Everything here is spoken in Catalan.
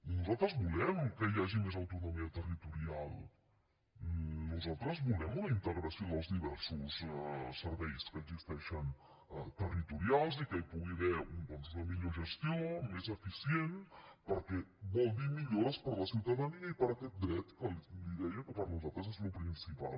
nosaltres volem que hi hagi més autonomia territo rial nosaltres volem una integració dels diversos serveis que existeixen territorials i que hi pugui haver doncs una millor gestió més eficient perquè vol dir millores per a la ciutadania i per aquest dret que li deia que per nosaltres és el principal